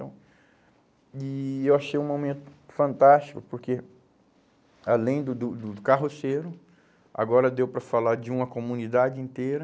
Então, e eu achei um momento fantástico, porque, além do do do carroceiro, agora deu para falar de uma comunidade inteira,